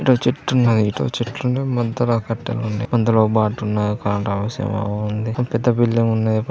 Auto చెట్టు ఉంది ఇటో చెట్టు ఉంది మధ్యలో కర్టెన్ ఉంది. అందులో బాట్ ఉంది. పెద్ద బిల్డింగ్ ఉంది ఒక్కటి.